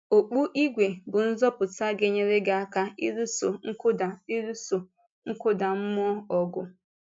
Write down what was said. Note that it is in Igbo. Okpù ígwè bụ́ nzọpụta ga-enyere gị aka ịlụso nkụda ịlụso nkụda mmụọ ọgụ.